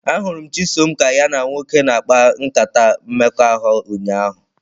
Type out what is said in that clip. Ahụrụ m Chisom ka ya na nwoke na-akpa nkata mmekọahụ ụnyahụ.